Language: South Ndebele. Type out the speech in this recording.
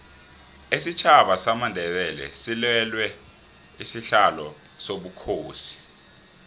isitjhaba samandebele silwela isihlalo sobukhosi